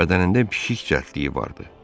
Bədənində pişik cəldliyi vardı.